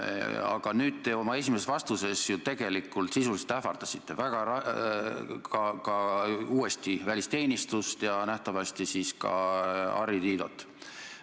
Aga nüüd te oma esimeses vastuses tegelikult sisuliselt ähvardasite uuesti välisteenistust ja nähtavasti siis ka Harri Tiidot.